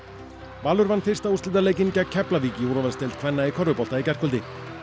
Valur vann fyrsta úrslitaleikinn gegn Keflavík í úrvalsdeild kvenna í körfubolta í gærkvöldi